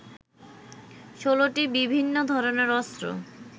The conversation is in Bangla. ১৬টি বিভিন্ন ধরনের অস্ত্র